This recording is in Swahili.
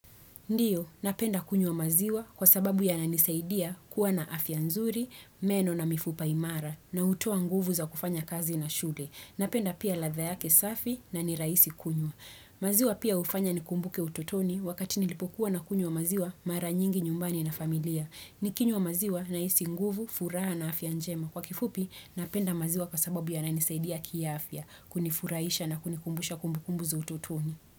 Ndiyo, napenda kunywa maziwa kwa sababu yananisaidia kuwa na afya nzuri, meno na mifupa imara, na hutoa nguvu za kufanya kazi na shule. Napenda pia ladha yake safi na nirahisi kunywa. Maziwa pia hufanya nikumbuke utotoni wakati nilipokuwa na kunywa maziwa mara nyingi nyumbani na familia. Nikinywa maziwa na hisi nguvu, furaha na afya njema. Kwa kifupi, napenda maziwa kwa sababu yananisaidia ki afya, kunifurahisha na kunikumbusha kumbukumbu za utotoni.